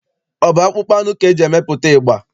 Ọ bụ akpụkpọ anụ ka e ji emepụta ịgba?